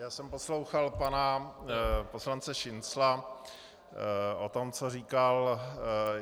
Já jsem poslouchal pana poslance Šincla o tom, co říkal.